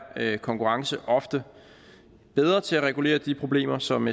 konkurrence ofte bedre til at regulere de problemer som